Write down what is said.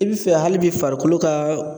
E bi fɛ hali bi farikolo ka